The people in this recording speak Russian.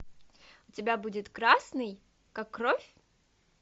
у тебя будет красный как кровь